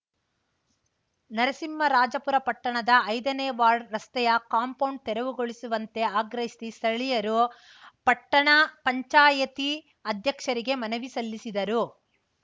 ನರಸಿಂಹರಾಜಪುರ ಪಟ್ಟಣದ ಐದನೇ ವಾರ್ಡ್‌ ರಸ್ತೆಯ ಕಾಂಪೌಂಡ್‌ ತೆರವುಗೊಳಿಸುವಂತೆ ಆಗ್ರಹಿಸಿ ಸ್ಥಳೀಯರು ಪಟ್ಟಣ ಪಂಚಾಯತಿ ಅಧ್ಯಕ್ಷರಿಗೆ ಮನವಿ ಸಲ್ಲಿಸಿದರು